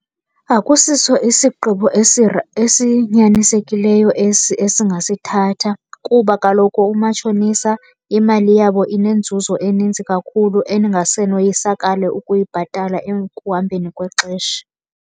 Akusiso isigqibo esinyanisekileyo esi esingasithatha. Kuba kaloku umatshonisa imali yabo inenzuzo eninzi kakhulu eningase noyisakale ukuyibhatala ekuhambeni kwexesha.